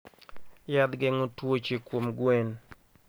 Yath geng'o twuoche kuom gwen.